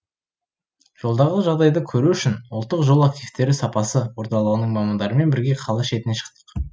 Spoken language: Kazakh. жолдағы жағдайды көру үшін ұлттық жол активтері сапасы орталығының мамандарымен бірге қала шетіне шықтық